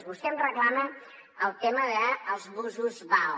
vostè em reclama el tema dels busos vao